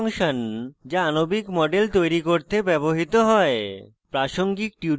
model kit function যা আণবিক models তৈরি করতে ব্যবহৃত হয়